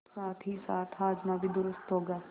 साथहीसाथ हाजमा भी दुरूस्त होगा